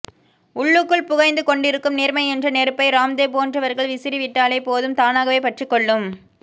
உள்ளுக்குள் புகைந்து கொண்டிருக்கும் நேர்மை என்ற நெருப்பை ராம்தேவ் போன்றவர்கள் விசிறி விட்டாலே போதும் தானாக பற்றி கொள்ளும்